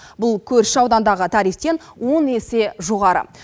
бұл көрші аудандағы тарифтен он есе жоғары